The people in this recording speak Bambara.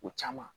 O caman